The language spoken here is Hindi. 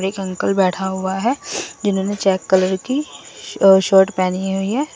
एक अंकल बैठा हुआ है जिन्होंने चेक कलर की शर्ट पहनी हुई है।